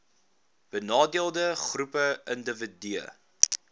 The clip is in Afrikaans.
benadeelde groepe indiwidue